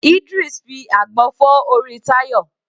Idris fi àgbọn fọ́ orí Tayo.